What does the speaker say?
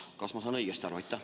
Kas ma saan õigesti aru?